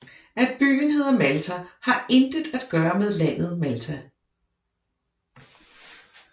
At byen hedder Malta har intet at gøre med landet Malta